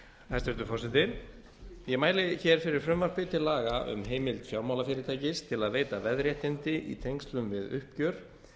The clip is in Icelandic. hæstvirtur forseti ég mæli hér fyrir frumvarpi til laga um heimild fjármálafyrirtækis til að veita veðréttindi i tengslum við uppgjör